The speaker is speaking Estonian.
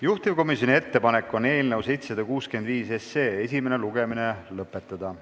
Juhtivkomisjoni ettepanek on eelnõu 765 esimene lugemine lõpetada.